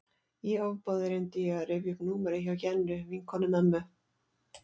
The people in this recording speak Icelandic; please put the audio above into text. Í ofboði reyndi ég að rifja upp númerið hjá Jennu, vinkonu mömmu.